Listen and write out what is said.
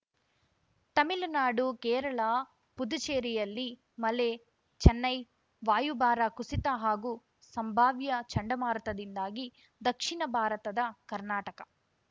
ತಮಿಳುನಾಡು ಕೇರಳ ಪುದುಚೇರಿಯಲ್ಲಿ ಮಳೆ ಚೆನ್ನೈ ವಾಯುಭಾರ ಕುಸಿತ ಹಾಗೂ ಸಂಭಾವ್ಯ ಚಂಡಮಾರುತದಿಂದಾಗಿ ದಕ್ಷಿಣ ಭಾರತದ ಕರ್ನಾಟಕ